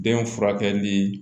Den furakɛli